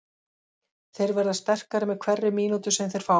Þeir verða sterkari með hverri mínútu sem þeir fá.